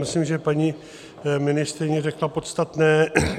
Myslím, že paní ministryně řekla podstatné.